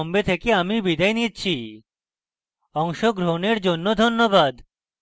অংশগ্রহনের জন্য ধন্যবাদ